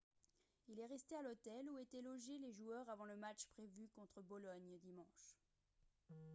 il est resté à l'hôtel où étaient logés joueurs avant le match prévu contre bologne dimanche